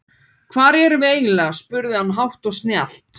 Hvar erum við eiginlega spurði hann hátt og snjallt.